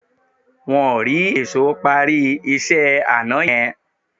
Wọ́n ò rí èṣó parí iṣẹ́ àná yẹn